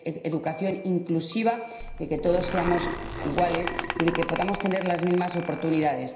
educación inclusiva, de que todos seamos iguales y de que podamos tener las mismas oportunidades.